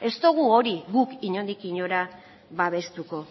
ez dugu hori guk inondik inora babestuko